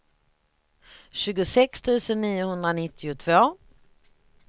tjugosex tusen niohundranittiotvå